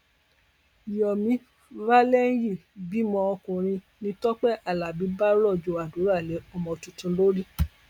yomi valeriyi bímọ ọkùnrin ni tọpẹ alábí bá rọjò àdúrà lé ọmọ tuntun lórí